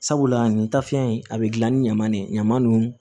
Sabula nin tafiɲɛ in a bɛ gilan ni ɲaman de ye ɲaman nunnu